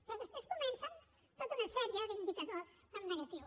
però després comencen tota una sèrie d’indicadors en negatiu